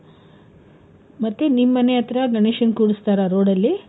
ಮತ್ತೆ ನಿನ್ ಮನೆಯತ್ರ ಗಣೇಶನ್ ಕೂರಿಸ್ತಾರಾ road ಅಲ್ಲಿ?